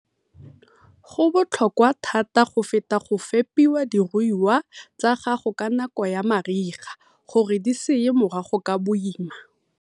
Go botlhokwa thata go feta go fepa diruiwa tsa gago ka nako ya mariga gore di se ye morago ka boima.